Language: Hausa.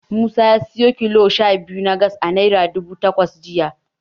Musa ya siyo kilo sha biyu na Gas a Naira dubu takwas jiya.